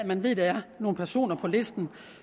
man ved at der er nogle personer på listen